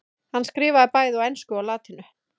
hann skrifaði bæði á ensku og latínu